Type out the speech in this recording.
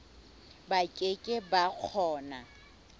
ba ke ke ba kgona